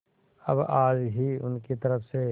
अब आज ही उनकी तरफ से